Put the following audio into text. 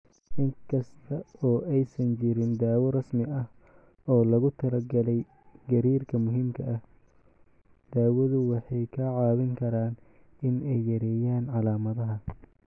In kasta oo aysan jirin daawo rasmi ah oo loogu talagalay gariirka muhiimka ah, daawadu waxay kaa caawin karaan in ay yareeyaan calaamadaha.